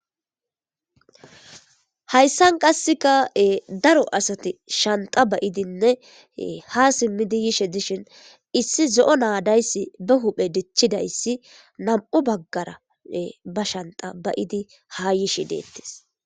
Hayssan qasseka'e daro asati shanta bayidinne ha simmidi yishe dishin issi zo'o naadayssi be huphe dichchidayssi nam'u baggara ba shanta bayidi ha yishe deettis.